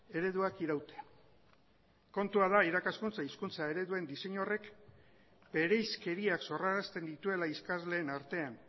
ereduak irautea kontua da irakaskuntza hizkuntza ereduen diseinu horrek bereizkeriak sorrarazten dituela ikasleen artean